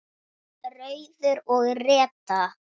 Rauður og Redda